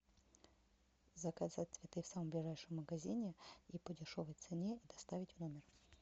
заказать цветы в самом ближайшем магазине и по дешевой цене доставить в номер